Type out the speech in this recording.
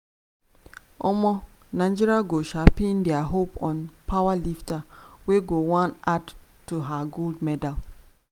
um nigeria go sharpin dia hope on powerlifter wey go wan add to her gold medal